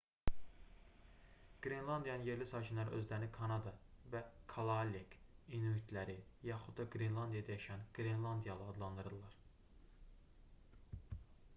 qrenlandiyanın yerli sakinləri özlərini kanada və kalaallek cəmdə: kalaallit inuitləri yaxud da qrenlandiyada yaşayan qrenlandiyalı adlandırırlar